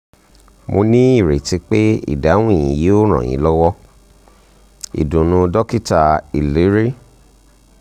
mo ní ìrètí pé ìdáhùn yìí yóò ràn yín lọ́wọ́! ìdùnnú dokita iliri